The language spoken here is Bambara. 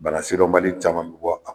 Banasidɔnbali caman bɛ bɔ